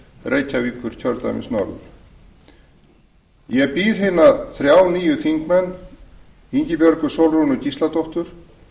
reykjavíkurkjördæmis norður ég býð hina þrjá nýju þingmenn ingibjörgu sólrúnu gísladóttur